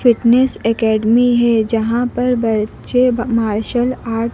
fitness academy है जहां पर बच्चे मार्शल आर्ट --